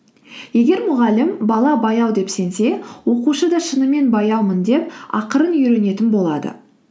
егер мұғалім бала баяу деп сенсе оқушы да шынымен баяумын деп ақырын үйренетін болады